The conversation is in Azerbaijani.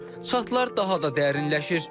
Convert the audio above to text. Çatlar daha da dərinləşir.